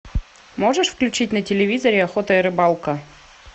можешь включить на телевизоре охота и рыбалка